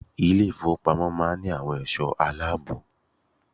Ilé ìfowópamọ́ máa ń ní àwọn ẹ̀sọ́ aláàbò.